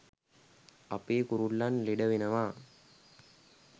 අපේ කුරුල්ලන් ලෙඩ වෙනවා.